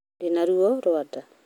Ndĩna ruo rwa nda.